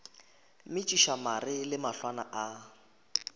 metšiša mare le mahlwana a